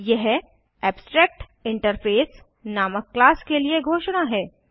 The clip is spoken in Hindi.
यह एब्स्ट्रैक्टिंटरफेस नामक क्लास के लिए घोषणा है